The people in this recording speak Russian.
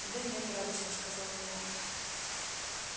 да нет радостно сказала я